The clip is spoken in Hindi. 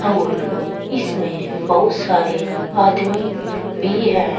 और इसमें बहुत सारे आदमी भी है।